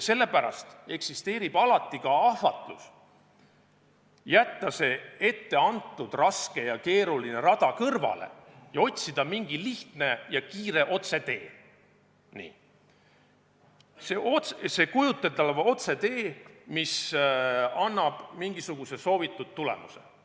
Sellepärast eksisteerib alati ka ahvatlus jätta see etteantud raske ja keeruline rada kõrvale ning otsida mingi lihtne ja kiire otsetee – see kujuteldav otsetee, mis annab mingisuguse soovitud tulemuse.